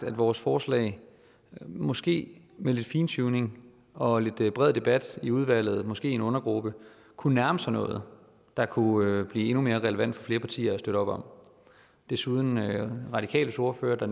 at vores forslag måske med lidt fintuning og lidt bred debat i udvalget og måske en undergruppe kunne nærme sig noget der kunne blive endnu mere relevant for flere partier at støtte op om desuden nævnte radikales ordfører